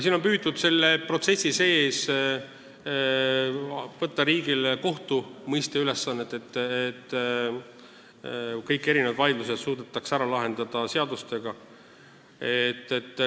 Siin on püütud selle protsessi sees võtta riigile kohtumõistja ülesannet, et kõik vaidlused suudetaks ära lahendada seadustega.